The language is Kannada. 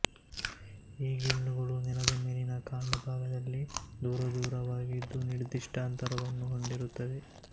ಈ ಗಿಣ್ಣುಗಳು ನೆಲದ ಮೇಲಿನ ಕಾಂಡಭಾಗದಲ್ಲಿ ದೂರದೂರವಾಗಿದ್ದು ನಿರ್ದಿಷ್ಟ ಅಂತರವನ್ನು ಹೊಂದಿರುತ್ತವೆ